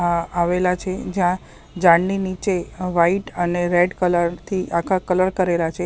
આ આવેલા છે જ્યાં ઝાડની નીચે વ્હાઇટ અને રેડ કલર થી આખા કલર કરેલા છે.